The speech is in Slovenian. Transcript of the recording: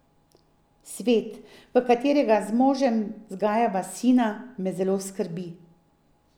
Svet, v katerega z možem vzgajava sina, me zelo skrbi.